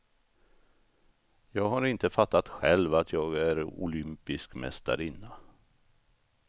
Jag har inte fattat själv att jag är olympisk mästarinna.